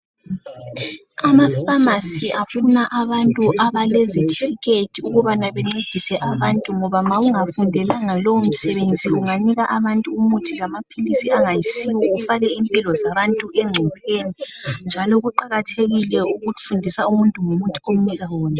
amafamasi afuna abantu abelezi thikhethi ukuba bencedise abantu ngoba ma ungafundelanga lowo msebenzi uganika abantu umuthi ongayisiwo ufake impilo zabantu encopheni njalo kuqhakathekile ukufundisa abantu ngomuthi owanike wona